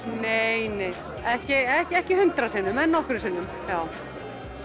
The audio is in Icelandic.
nei nei ekki ekki hundrað sinnum en nokkrum sinnum